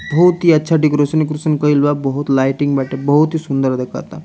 बहुत हीं अच्छा डेकोरेशन उकेरेसन कईल बा बहुत लाइटिंग बाटे बहुत हीं सुन्दर दिखता।